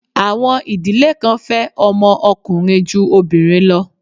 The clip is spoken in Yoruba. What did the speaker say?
Àwọn ìdílé kan fẹ́ ọmọ ọkùnrin ju obìnrin lọ.